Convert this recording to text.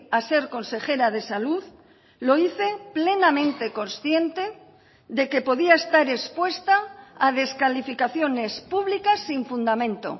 a ser consejera de salud lo hice plenamente consciente de que podía estar expuesta a descalificaciones públicas sin fundamento